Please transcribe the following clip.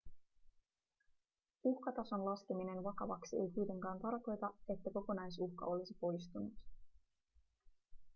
uhkatason laskeminen vakavaksi ei kuitenkaan tarkoita että kokonaisuhka olisi poistunut